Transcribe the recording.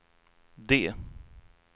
D